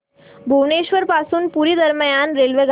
भुवनेश्वर पासून पुरी दरम्यान रेल्वेगाडी